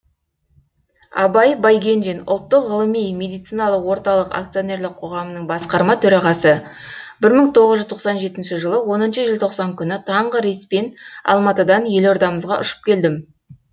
абай байгенжин ұлттық ғылыми медициналық орталық акционерлік қоғамының басқарма төрағасы бір мың тоғыз жүз тоқсан жетінші жылы оныншы желтоқсан күні таңғы рейспен алматыдан елордамызға ұшып келдім